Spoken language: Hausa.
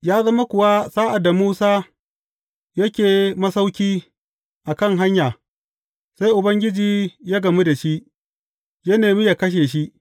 Ya zama kuwa sa’ad da Musa yake masauki a kan hanya sai Ubangiji ya gamu da shi, ya nema ya kashe shi.